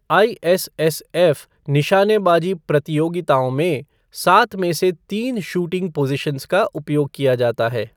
ISSF निशानेबाजी प्रतियोगिताओं में, सात में से तीन शूटिंग पोज़ीशनस का उपयोग किया जाता है।